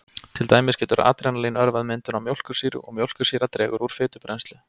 Til dæmis getur adrenalín örvað myndun á mjólkursýru og mjólkursýra dregur úr fitubrennslu.